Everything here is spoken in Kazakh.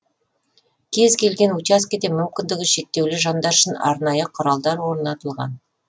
кез келген учаскеде мүмкіндігі шектеулі жандар үшін арнайы құралдар орнатылған